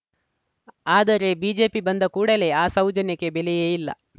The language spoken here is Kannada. ಆದರೆ ಬಿಜೆಪಿ ಬಂದ ಕೂಡಲೇ ಆ ಸೌಜನ್ಯಕ್ಕೆ ಬೆಲೆಯೇ ಇಲ್ಲ